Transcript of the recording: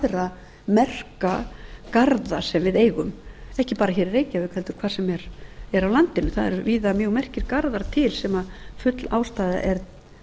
og aðra merka garða sem við eigum ekki bara hér í reykjavík heldur hvar sem er á landinu það eru víða mjög merkir garðar til sem full ástæða er